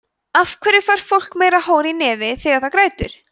af hverju fær fólk meira hor í nefið þegar það grætur